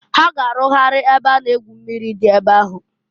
Ha ga-arụgharị ebe a na- egwu mmiri dị ebe ahụ.